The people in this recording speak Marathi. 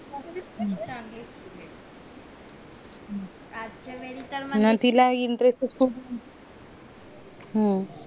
नाय तिला intertest ये खूप हम्म